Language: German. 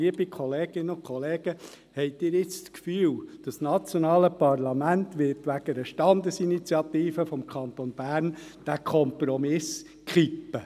Liebe Kolleginnen und Kollegen, haben Sie jetzt den Eindruck, das nationale Parlament werde wegen einer Standesinitiative des Kantons Bern diesen Kompromiss kippen?